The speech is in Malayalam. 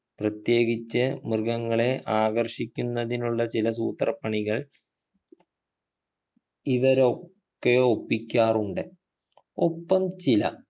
പ്രത്യേകിച്ചു മൃഗങ്ങളെ ആകർഷിക്കുന്നതിനുള്ള ചില സൂത്രപ്പണികൾ ഇവരൊക്കെ ഒപ്പിക്കാറുണ്ട് ഒപ്പം ചില